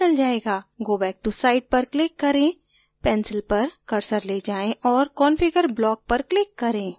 go back to site पर click करें pencil पर कर्सर go जाएं और configure block पर click करें